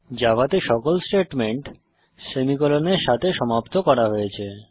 জাভাতে সমস্ত স্টেটমেন্ট সেমিকোলনের সাথে সমাপ্ত করা হয়েছে